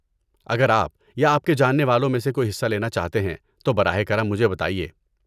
اگر آپ یا آپ کے جاننے والوں میں سے کوئی حصہ لینا چاہتے ہیں، تو براہ کرم مجھے بتائیے۔